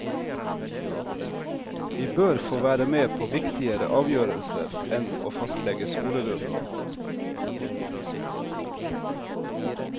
Vi bør få være med på viktigere avgjørelser enn å fastlegge skoleruten.